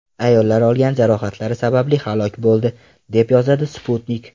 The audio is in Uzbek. Ayollar olgan jarohatlari sababli halok bo‘ldi, deb yozadi Sputnik.